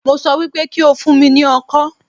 Mo sọ wípé kí o fún mi ní ọkọ́